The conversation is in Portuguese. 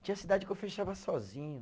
Tinha cidade que eu fechava sozinho.